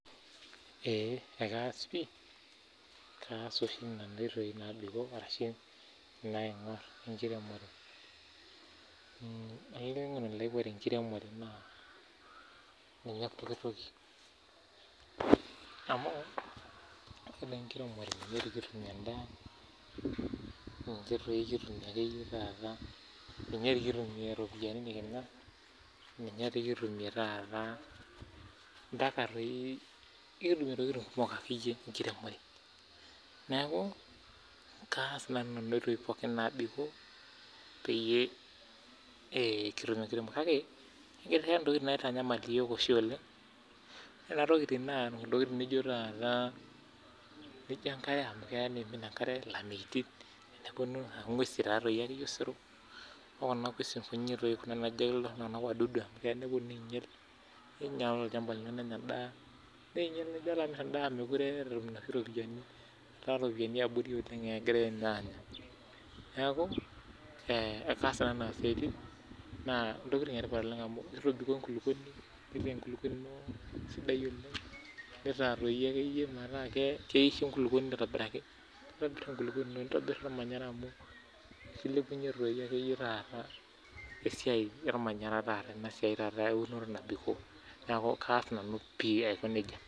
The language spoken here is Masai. ee ekaas pii kaas oshi nanu aing'or enkiremore olainining'oni lai ore enkiremore naa ninye pokitoki amu ore enkiremore ninye kitumie endaa ninyee kitumiai ropiani nikimir ninye kitumia taata ntokitin pookin enkiremore neeku kaas nanu ntokitin pokin naa ee pekitum enkiremore kake ekiata ntokitin oshi nitanyamal iyiok oleng ntokitin naijio enkare amu kimin enkare elameyiti aa ng'uesi ake Osero okuna ng'uesi naajo iltung'ana wadudu amu keya ninyial olchamba nenyaa enda neeku tenilo amir endaa mekure enyaa noshi ropiani eta ropiani yabori oleng egira anya neeku ee kaas nanu Nena siaitin naa ntokitin etipat amu kitobikoo enkulupuoni enepu enkulupuoni eno aisidai oleng nitaa metaa keisho enkulupuoni aitobiraki nitaa enkulupuoni nitabor ormanyanyara amu kilepunye doi akeyie taata esiai ormanyara ena siai eunoto